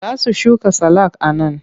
Za su shuka salak a nan.